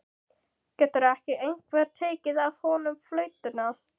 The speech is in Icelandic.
Getur ekki einhver tekið af honum flautuna?